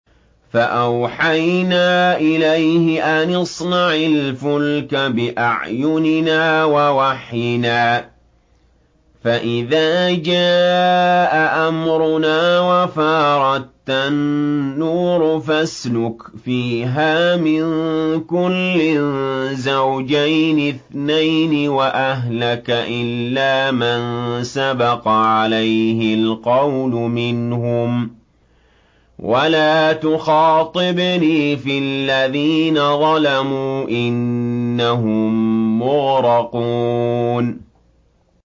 فَأَوْحَيْنَا إِلَيْهِ أَنِ اصْنَعِ الْفُلْكَ بِأَعْيُنِنَا وَوَحْيِنَا فَإِذَا جَاءَ أَمْرُنَا وَفَارَ التَّنُّورُ ۙ فَاسْلُكْ فِيهَا مِن كُلٍّ زَوْجَيْنِ اثْنَيْنِ وَأَهْلَكَ إِلَّا مَن سَبَقَ عَلَيْهِ الْقَوْلُ مِنْهُمْ ۖ وَلَا تُخَاطِبْنِي فِي الَّذِينَ ظَلَمُوا ۖ إِنَّهُم مُّغْرَقُونَ